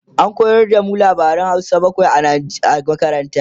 an koyar da mu labaran Hausa bakwai a makaranta